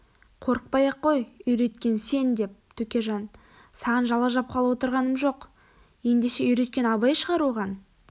қорықпай-ақ қой үйреткен сен деп төкежан саған жала жапқалы отырғаным жоқ ендеше үйреткен абай шығар оған